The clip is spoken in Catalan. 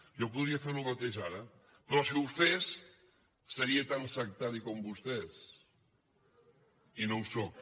jo podria fer el mateix ara però si ho fes seria tan sectari com vostès i no ho sóc